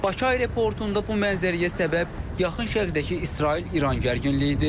Bakı aeroportunda bu mənzərəyə səbəb yaxın Şərqdəki İsrail-İran gərginliyidir.